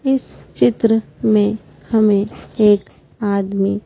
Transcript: इस चित्र में हमें एक आदमी--